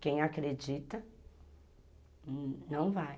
Quem acredita, não vai.